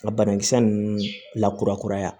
Ka banakisɛ ninnu lakurakuraya